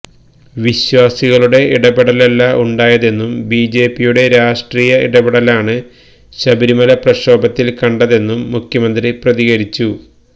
വിശ്വാസികളുടെ ഇടപെടലല്ല ഉണ്ടായതെന്നും ബിജെപിയുടെ രാഷ്ട്രീയ ഇടപെടലാണ് ശബരിമല പ്രക്ഷോഭത്തില് കണ്ടതെന്നും മുഖ്യമന്ത്രി പ്രതികരിച്ചു